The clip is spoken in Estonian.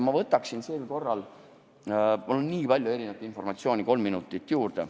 Ma võtaksin sel korral – mul on nii palju informatsiooni – kolm minutit juurde.